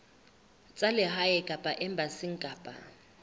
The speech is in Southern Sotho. tsa lehae kapa embasing kapa